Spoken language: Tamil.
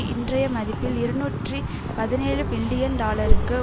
இன்றைய மதிப்பில் இருநூற்றி பதினேழு பில்லியன் டாலருக்கு